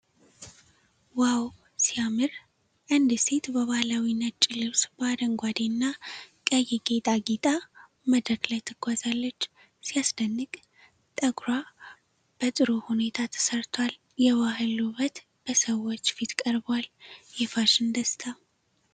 ዋው! ሲያምር! አንዲት ሴት በባህላዊ ነጭ ልብስ በአረንጓዴና ቀይ ጌጥ አጊጣ መድረክ ላይ ትጓዛለች። ሲያስደንቅ! ጠጉሯ በጥሩ ሁኔታ ተሰርቷል። የባህል ውበት በሰዎች ፊት ቀርቧል። የፋሽን ደስታ!